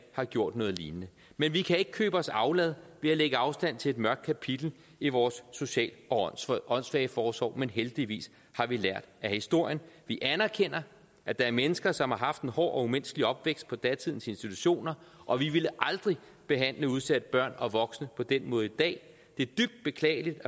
har gjort noget lignende vi kan ikke købe os aflad ved at lægge afstand til et mørkt kapitel i vores social og åndssvageforsorg men heldigvis har vi lært af historien vi anerkender at der er mennesker som har haft en hård og umenneskelig opvækst på datidens institutioner og vi ville aldrig behandle udsatte børn og voksne på den måde i dag det er dybt beklageligt